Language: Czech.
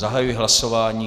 Zahajuji hlasování.